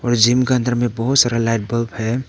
Gym के अंदर में बहुत सारा लाइट बल्ब है।